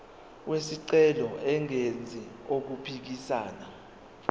wesicelo engenzi okuphikisana